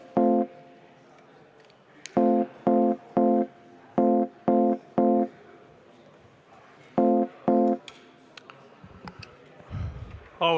Istungi lõpp kell 11.46.